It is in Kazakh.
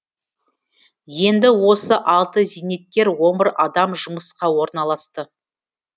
енді осы алты зейнеткер он бір адам жұмысқа орналасты